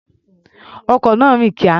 Ọkọ̀ náà rìn kíá.